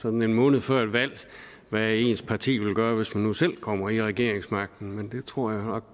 sådan en måned før et valg hvad ens parti vil gøre hvis man nu selv kommer til regeringsmagten men det tror jeg